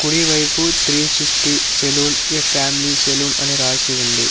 కుడి వైపు three sixty salon family salon అని రాసి ఉంది.